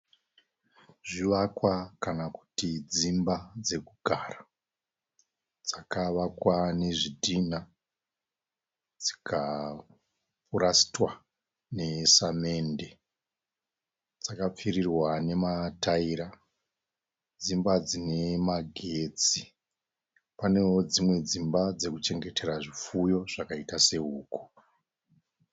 Zvivakwa kana kuti dzimba dzekugara, dzakavakwa nezvitina dzikapurasitwa nesamende. Dzakapfirirwa namataira. Dzimba dzinemagetsi. Panewo dzimwe dzimba dzekuchengetera zvipfuyo zvakaita se huku.